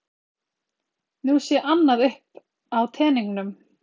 Nú sé annað uppi á teningnum